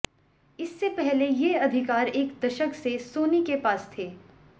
इससे पहले ये अधिकार एक दशक से सोनी के पास थे